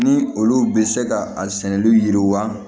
Ni olu bɛ se ka a sɛnɛli yiriwa